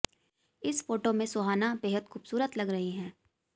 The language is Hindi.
इस फोटो में सुहाना बेहद खूबसूरत लग रही हैं